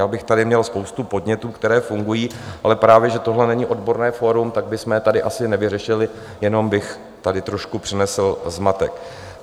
Já bych tady měl spoustu podnětů, které fungují, ale právě že tohle není odborné fórum, tak bychom to tady asi nevyřešili, jenom bych tady trošku přinesl zmatek.